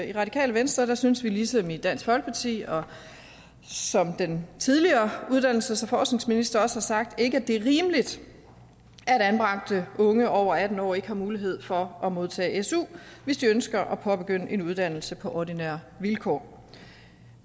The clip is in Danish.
i radikale venstre synes vi ligesom i dansk folkeparti og som den tidligere uddannelses og forskningsminister også har sagt ikke er rimeligt at anbragte unge over atten år ikke har mulighed for at modtage su hvis de ønsker at påbegynde en uddannelse på ordinære vilkår